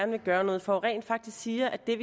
vil gøre noget for rent faktisk siger at det